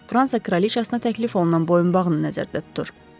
Fransa kraliçasına təklif olunan boyunbağını nəzərdə tutur.